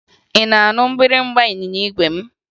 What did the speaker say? Ị na-anụ mgbịrịmgba ịnyịnya igwe m?